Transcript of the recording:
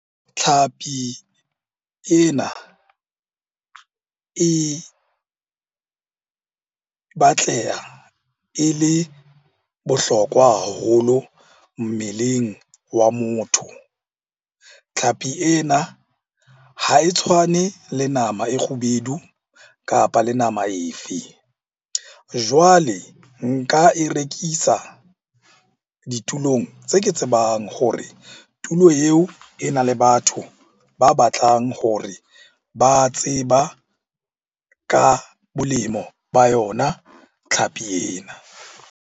Tlhapi ena e batleha e le bohlokwa haholo mmeleng wa motho. Tlhapi ena ha e tshwane le nama e kgubedu, kapa le nama e fe. Jwale nka e rekisa ditulong tse ke tsebang hore tulo eo e na le batho ba batlang hore ba tseba ka bolemo ba yona tlhapi ena.